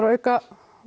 að auka